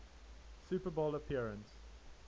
super bowl appearance